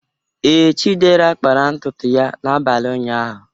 Ee, Chidera kpara ntutu ya n'abalị ụnyaahụ.